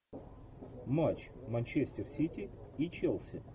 матч манчестер сити и челси